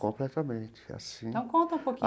Completamente é assim. Então conta um pouquinho.